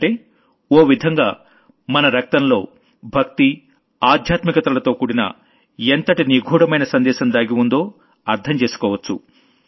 అంటే ఓ విధంగా మన రక్తంలో భక్తి మరియు ఆధ్యాత్మికతలతోకూడన ఎంతటి నిగూఢమైన సందేశం దాగి ఉందో అర్థం చేసుకోవచ్చు